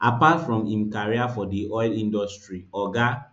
apart from im career for di oil industry oga